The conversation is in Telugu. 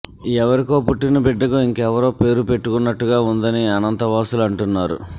ఎవరికో పుట్టిన బిడ్డకు ఇంకెవరో పేరు పెట్టుకున్నట్టుగా ఉందని అనంత వాసులు అంటున్నారు